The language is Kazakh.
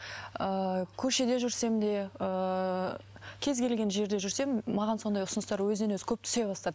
ыыы көшеде жүрсем де ыыы кез келген жерде жүрсем маған сондай ұсыныстар өзінен өзі көп түсе бастады